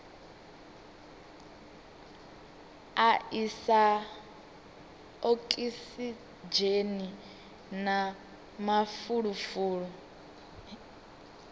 a isa okisidzheni na mafulufulu